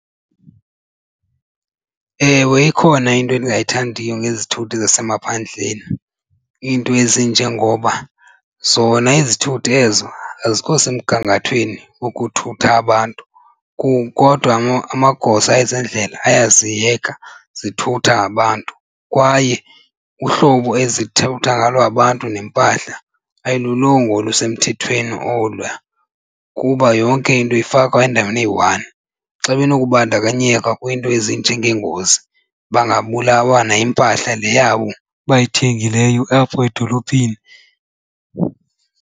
Ewe, ikhona into endingayithandiyo ngezithuthi zasemaphandleni iinto ezinje ngoba zona izithuthi ezo azikho semgangathweni wokuthutha abantu kodwa amagosa ezendlela ayaziyeka zithutha abantu. Kwaye uhlobo ezithutha ngalo abantu neempahla ayilulonga olusemthethweni oluya kuba yonke into ifakwa endaweni eyi-one. Xa benokubandakanyeka kwiinto ezinjengeengozi bangabulawa nayimpahla le yabo bayithengileyo apho edolophini.